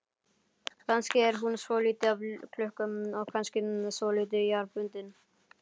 Kannski er hún svolítið af klukku og kannski svolítið jarðbundin.